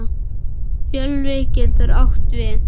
Fjölvi getur átt við